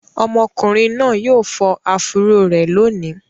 Ọmọkùnrin náà yóò fọ áfúró rẹ̀ lónìí.